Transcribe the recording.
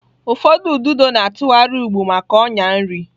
Ụfọdụ ududo na-atụgharị ụgbụ maka ọnyà nri.